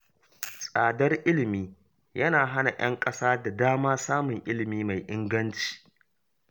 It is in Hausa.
Tsadar ilimi yana hana ‘yan ƙasa da dama samun ilimi mai inganci.